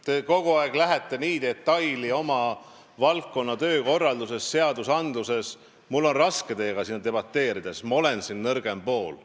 Te kogu aeg lähete nii detailidesse oma valdkonna töökorraldusest, seadusandlusest rääkides, et mul on raske teiega siin debateerida, ma olen siin nõrgem pool.